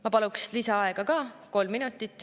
Ma paluks lisaaega kolm minutit.